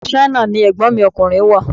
Ìlú Ṣáínà ni Ẹ̀gbọ́n mi ọkùnrin wà.